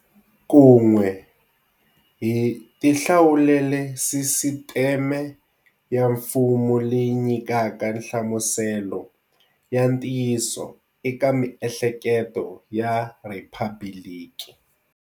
Kun'we, hi tihlawulele sisiteme ya mfumo leyi nyikaka nhlamuselo ya ntiyiso eka miehleketo ya rhiphabiliki.